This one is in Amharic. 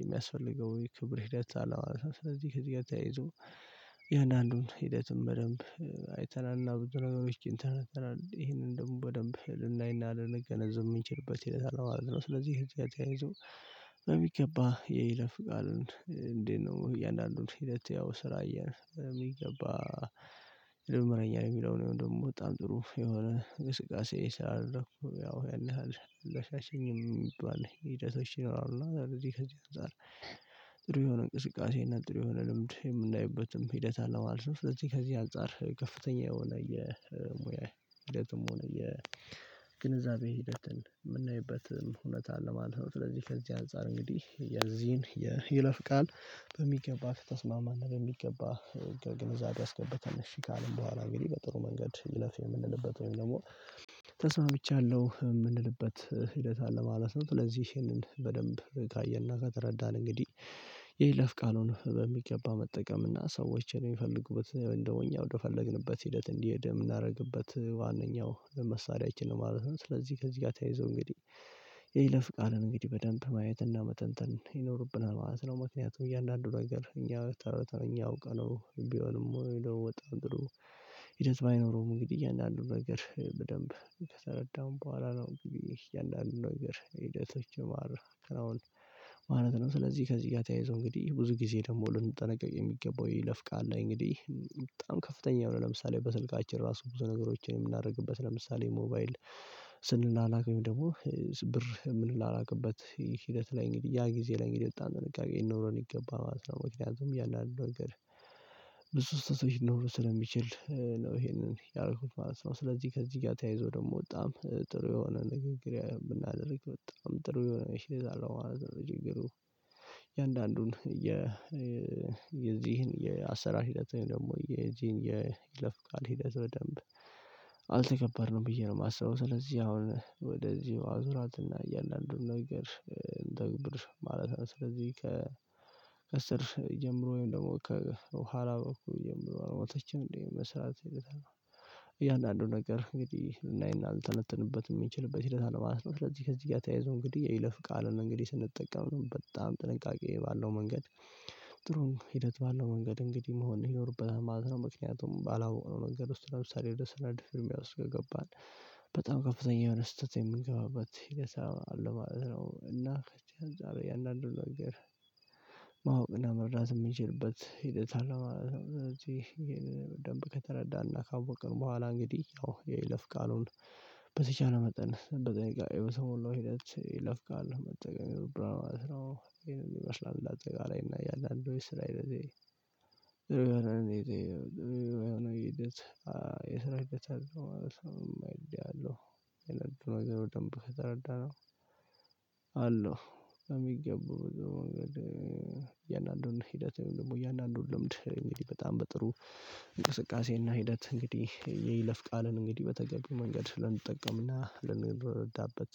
የሚያስፈልገው የክብር ሂደት አለው ማለት ነው። ስለዚህ ከዚህ ጋር ተያይዞ የአንዳንዱን ሂደትም በደንብ አይተናልና ብዙ ነገሮች ኢንተርነት ይሄንን ደግሞ በደንብ ልናይና ልንገነዝም የሚችልበት ማለት ነው። ስለዚህ ህጃችን ተያይዞ በሚገባ የይለፍ ቃሉን እንዴት ነው እያንዳንዱን ሂደት ያው ስራ እያነሳን የሚገባ። ያልምረኛል የሚለውን ደግሞ በጣም ጥሩ የሆነ ግስጋሴ ስላደረኩ ያው ያለህ አለ አሻሸኝም የሚባል ሂደቶች ነው። እና እንደዚህ ከዚህ አንፃር የሆነ እንቅስቃሴ እና ጥሩ የሆነ ልምድ የምናይበትም ሂደት አለማለት ነው። ስለዚህ ከዚህ አንፃር ከፍተኛ የሆነ የሙያ ሂደትም ሆነ የግንዛቤ ሂደትን የምናይበት እውነት አለ። ማለት ስለዚህ ከዚህ አንፃር እንግዲህ የዚህን የይለፍ ቃል በሚገባ ከተስማማና በሚገባ ከግንዛቤ ያስገባታል እሺ ካልን በኋላ እንግዲህ በጥሩ መንገድ ይለፍ የምንልበት ወይም ደግሞ ተስማምቻለሁ የምንልበት ሂደት አለ ማለት ነው። ለዚህ ይሄንን በደንብ በጥንቃቄና ከተረዳን እንግዲህ የይለፍ ቃሉን በሚገባ መጠቀምና ሰዎች የሚፈልጉበት እንደው እኛ ወደፈለግንበት ሂደት እንዲሄድ የምናደርግበት ዋናኛው ለመሳለያችን ነው ማለት ነው። ስለዚህ ከዚህ ጋር ተያይዞ እንግዲህ የይሌላ ፍቃድን እንግዲህ በደንብ ማየትና መተንተን ይኖርብናል ማለት ነው። ምክንያቱም እያንዳንዱ ነገር እኛ ተረድተን እኛ አውቀነው ቢሆንም ወይ ደግሞ ወጣን ድሮ። ሂደት ባይኖረውም እንግዲህ እያንዳንዱን ነገር በደንብ ከተረዳን በኋላ ነው እንግዲህ እያንዳንዱን ነገር ሂደቶች ማረ ክራውንድ ማለት ነው። ስለዚህ ከዚህ ጋር ተያይዞ እንግዲህ ብዙ ጊዜ ደግሞ ልንጠነቀቅ የሚገባው ይለፍቃል እንግዲህ በጣም ከፍተኛ የሆነ ለምሳሌ በስልካችን ራሱ ብዙ ነገሮችን የምናደርግበት ለምሳሌ ሞባይል ስንላላክበት ደግሞ ብር የምንላላክበት ሂደት ላይ እንግዲህ ያ ጊዜ ላይ እንግዲህ የወጣ ጥንቃቄ ይኖረን ይገባል ማለት ነው። ያንን ነገር ብዙ ሰዎች ኖሮ ስለሚችል ነው ይሄንን ያደረኩት ማለት ነው። ስለዚህ ከዚህ ጋር ተያይዞ ደግሞ በጣም ጥሩ የሆነ ንግግሬ የምናደርግ በጣም ጥሩ የሆነ መሸይዝ አለባበስ አሁን። የአንዳንዱን የዚህን የአሰራር ሂደት ወይም ደግሞ የጂን የይለፍ ቃል ሂደት በደንብ አልተከበርንም ብዬ ነው የማስበው። ስለዚህ አሁን ወደዚሁ አዙራትና እያንዳንዱን ነገር ተግብር ማለት ነው። ስለዚህ ከስር ጀምሮ ወይም ደግሞ ከኋላ በኩል የምለው ሞተችም እንዴ መስራት ይልቅ ነው። እያንዳንዱ ነገር እንግዲህ ልናይና ልተነተንበት የሚችልበት ሂደት አለማለት ነው። ስለዚህ ከዚህ ጋር ተያይዞ እንግዲህ የይለፍ ቃል ነው እንግዲህ ስንጠቀም ነው በጣም ጥንቃቄ ባለው መንገድ። ጥሩም ሂደት ባለው መንገድ እንግዲህ መሆን ይኖርብሃል ማለት ነው። ምክንያቱም ባለው ነገር ውስጥ ለምሳሌ ወደ ሰነድ ፍርሚያ ውስጥ ገባን። በጣም ከፍተኛ የሆነ ስህተት የምንገባበት ለሰው አለው እና ከቼ አንዳንድ አንዱን ነገር። ማወቅና መርዳት የምንችልበት ሂደት አለ ማለት እዚህ ይሄን በደንብ ከተረዳን ካወቅን በኋላ እንግዲህ ያው የይለፍ ቃሉን በተቻለ መጠን በጠንቅቅ የሰው ሞላው ሂደት የይለፍ ቃል መጠን ብራ ነው። ይሄንን ይመስላል አጠገባችን እና ያለአንድ ስራ። እንደዚህ ለዚህ የሰራህ ማለት ነው የሚለው። የነገሩ ደንብ ተረዳነው። አለው የሚገቡ በደንብ። የእያንዳንዱን ሂደት ወይም ደግሞ የእያንዳንዱን ልምድ እንግዲህ በጣም በጥሩ እንቅስቃሴና ሂደት እንግዲህ የይለፍ ቃልን እንግዲህ በተገቢው መንገድ ልንጠቀምና ልንረዳበት